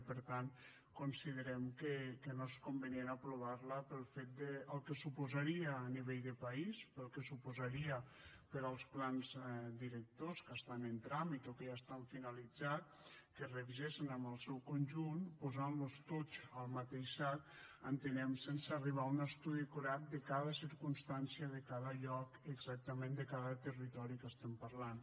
i per tant considerem que no és convenient aprovar la pel que suposaria a nivell de país pel que suposaria per als plans directors que estan en tràmit o que ja estan finalitzats que es revisessen en el seu conjunt posant los tots en el mateix sac entenem sense arribar a un estudi acurat de cada circumstància de cada lloc exactament de cada territori que parlem